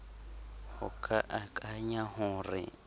ho ka akanya ho re